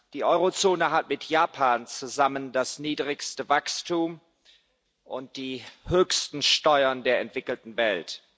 Die Eurozone hat mit Japan zusammen das niedrigste Wachstum und die höchsten Steuern der entwickelten Welt.